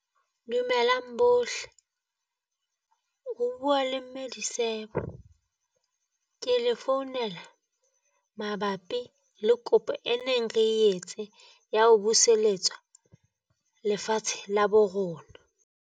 Dumelang bohle o bua le mme Disebo, ke le founela mabapi le kopo e neng re etse ya ho buseletsa lefatshe la bo rona.